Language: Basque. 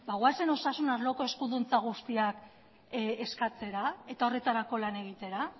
goazen osasun arloko eskuduntza guztiak eskatzera eta horretarako lan egitera